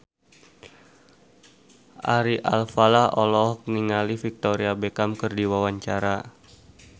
Ari Alfalah olohok ningali Victoria Beckham keur diwawancara